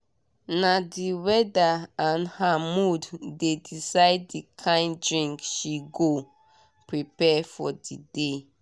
na the weather and her mood dey decide the kind drink she go prepare for the day.